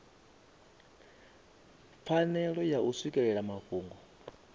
pfanelo ya u swikelela mafhungo